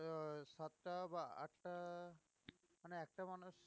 সাতটা বা আটটা মানে একটা মানুষ